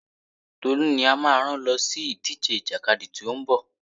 Tolú ni a máa rán lọ sí ìdíje ìjàkadì tí ó ń bọ̀.